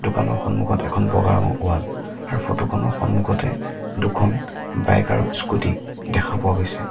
দোকানৰ সন্মুখত এখন বগা ৰঙৰ ৱাল আৰু ফটো খনৰ সন্মুখতে দুখন বাইক আৰু স্কুটী দেখা পোৱা গৈছে।